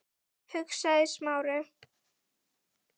hugsaði Smári.